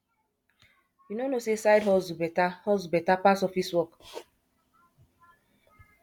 you no know sey side hustle beta hustle beta pass office work